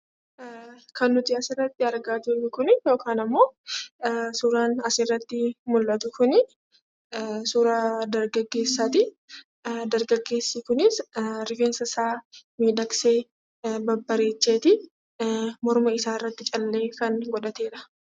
Kan nuti asirratti argaa jirru Kuni yokaan immoo suuraan asirratti mul'atu kuni, suuraa dargaggeessaati. Dargaggeessi kunis rifeensa isaa miidhagsee, babbareecheeti morma isaa irratti callee kan godhateedha.